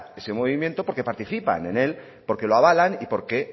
ese movimiento porque participa en él porque lo avalan y porque